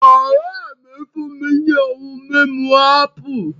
Ọ̀ré mi fún mi ní ohun mímu ápù